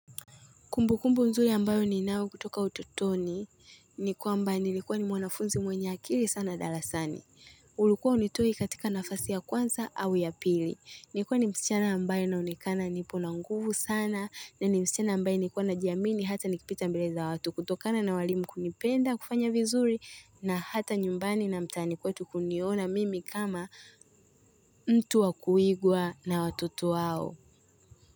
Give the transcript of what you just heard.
Kumbukumbu nzuri ambayo ninayo kutoka utotoni ni kwamba nilikuwa ni mwanafunzi mwenye akili sana darasani. Ulikuwa hunitoi katika nafasi ya kwanza au ya pili. Nilikuwa ni msichana ambaye naonekana nipo na nguvu sana na ni msichana ambaye nilikuwa najiamini hata nikipita mbele za watu, kutokana na walimu kunipenda, kufanya vizuri na hata nyumbani na mtaani kwetu kuniona mimi kama mtu wa kuigwa na watoto wao.